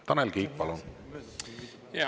Tanel Kiik, palun!